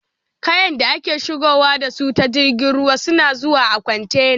Kayan da ake shigowa da su ta jirgin ruwa suna zuwa a kwantena